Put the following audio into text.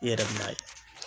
I yɛrɛ bɛ na ye .